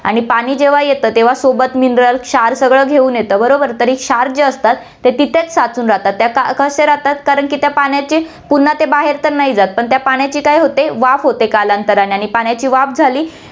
आणि पाणी जेव्हा येतं, तेव्हा सोबत mineral, क्षार सगळं घेऊन येतं, बरोबर, तरी क्षार जे असतात, ते तिथेच साचून राहतात, त्या क~ कसे राहतात, कारण की त्या पाण्याची पुन्हा ते बाहेर तर नाही जातं पण त्या पाण्याची काय होते, वाफ होते कालांतराने आणि पाण्याची वाफ झाली